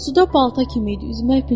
Suda balta kimi idi, üzmək bilmir.